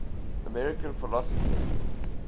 american philosophers